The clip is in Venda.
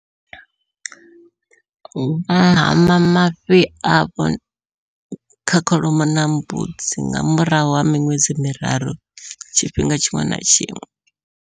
Vha hama mafhi avho kha kholomo na mbudzi nga murahu ha miṅwedzi miraru tshifhinga tshiṅwe na tshiṅwe.